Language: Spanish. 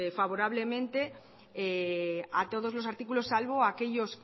favorablemente a todos los artículos salvo a aquellos